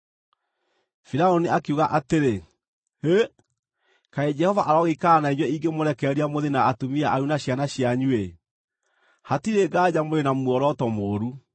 Firaũni akiuga atĩrĩ, “Hĩ! Kaĩ Jehova arogĩikara na inyuĩ ingĩmũrekereria mũthiĩ na atumia anyu na ciana cianyu-ĩ! Hatirĩ nganja mũrĩ na muoroto mũũru.